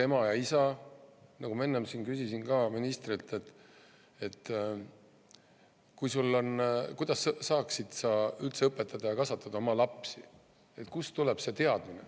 Ma enne siin küsisin ka ministrilt, kuidas saab üldse õpetada ja kasvatada oma lapsi, kust tuleb see teadmine.